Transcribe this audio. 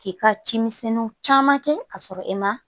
K'i ka cimisɛnninw caman kɛ k'a sɔrɔ e ma